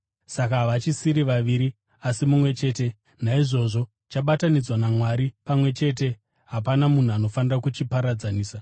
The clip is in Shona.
Saka havachisiri vaviri asi mumwe chete. Naizvozvo chabatanidzwa naMwari pamwe chete, hapana munhu anofanira kuchiparadzanisa.”